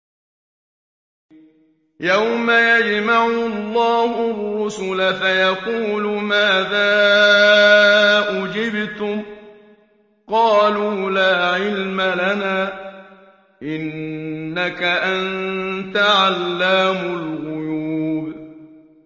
۞ يَوْمَ يَجْمَعُ اللَّهُ الرُّسُلَ فَيَقُولُ مَاذَا أُجِبْتُمْ ۖ قَالُوا لَا عِلْمَ لَنَا ۖ إِنَّكَ أَنتَ عَلَّامُ الْغُيُوبِ